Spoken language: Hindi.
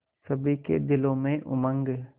सभी के दिलों में उमंग